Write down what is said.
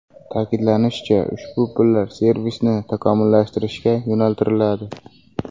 Ta’kidlanishicha, ushbu pullar servisni takomillashtirishga yo‘naltiriladi.